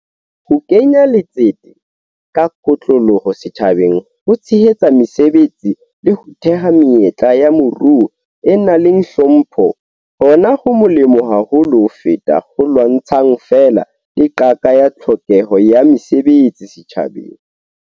Ho kenya letsete ka kotloloho setjhabeng ho tshehetsa mesebetsi le ho theha menyetla ya moruo e nang le hlompho hona ho molemo haholo ho feta ho lwantshang feela le qaka ya tlhokeho ya mesebetsi setjhabeng.